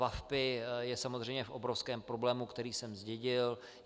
VaVpI je samozřejmě v obrovském problému, který jsem zdědil.